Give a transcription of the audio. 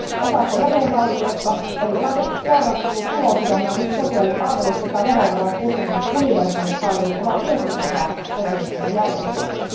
Osassa jäsenvaltioista erilaiset porrastetut tulosidonnaiset sosiaalipalvelut sekä verovaroin kustannetut universaalit palvelut ovat myös osa sosiaaliturvajärjestelmää.